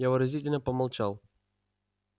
я выразительно помолчал